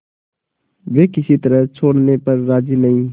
वे किसी तरह छोड़ने पर राजी नहीं